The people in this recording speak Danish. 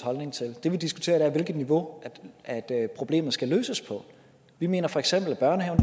holdning til det vi diskuterer er hvilket niveau problemet skal løses på vi mener feks at børnehaven